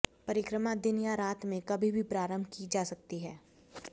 परिक्रमा दिन या रात में कभी भी प्रारंभ की जा सकती है